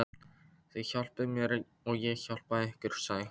Þið hjálpið mér og ég hjálpa ykkur, sagði hún.